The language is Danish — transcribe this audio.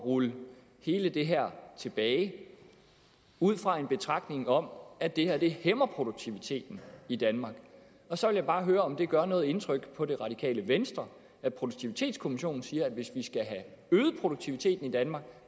rulle hele det her tilbage ud fra en betragtning om at det her hæmmer produktiviteten i danmark og så vil jeg bare høre om det gør noget indtryk på det radikale venstre at produktivitetskommissionen siger at hvis vi skal have øget produktiviteten i danmark